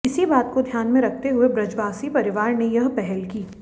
इसी बात को ध्यान में रखते हुए ब्रजवासी परिवार ने ये पहल की